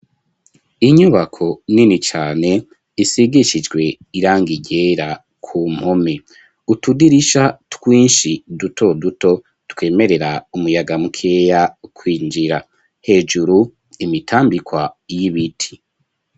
Inyubako nini cane isigishijwe irangi ryera ku mpome utudirisha twinshi duto duto twemerera umuyaga mukeya kwinjira hejuru imitambikwa y'ibiti.